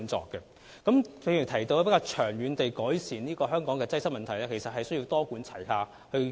正如我剛才提到，要長遠改善香港的交通擠塞問題，其實需要採取多管齊下的做法。